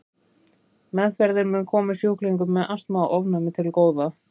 Meðferðin mun koma sjúklingum með astma og ofnæmi til góða.